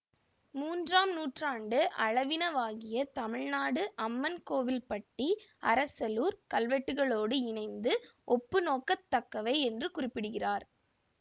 மூன்றாம் நூற்றாண்டு அளவினவாகிய தமிழ்நாட்டு அம்மன்கோயில்பட்டி அரசலூர் கல்வெட்டுகளோடு இணைத்து ஒப்புநோக்கத் தக்கவை என்று குறிப்பிடுகிறார்